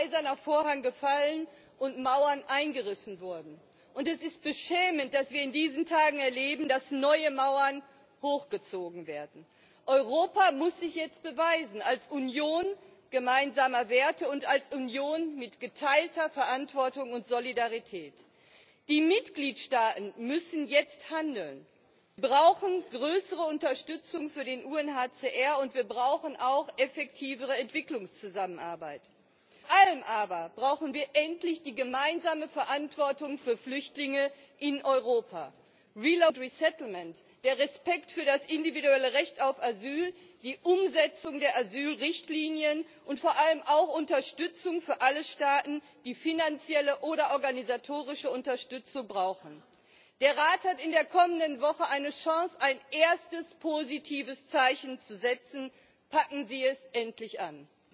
Frau Präsidentin, liebe Kolleginnen und Kollegen! Es ist noch gar nicht so lange her, dass in Europa ein Eiserner Vorhang gefallen ist und Mauern eingerissen wurden. Es ist beschämend, dass wir in diesen Tagen erleben, dass neue Mauern hochgezogen werden. Europa muss sich jetzt beweisen, als Union gemeinsamer Werte und als Union mit geteilter Verantwortung und Solidarität. Die Mitgliedstaaten müssen jetzt handeln. Wir brauchen größere Unterstützung für den UNHCR, und wir brauchen auch effektivere Entwicklungszusammenarbeit. Vor allem aber brauchen wir endlich die gemeinsame Verantwortung für Flüchtlinge in Europa. Umsiedlung und Neuansiedlung, der Respekt für das individuelle Recht auf Asyl, die Umsetzung der Asylrichtlinien und vor allem auch Unterstützung für alle Staaten, die finanzielle oder organisatorische Unterstützung brauchen. Der Rat hat in der kommenden Woche eine Chance, ein erstes positives Zeichen zu setzen. Packen Sie es endlich an!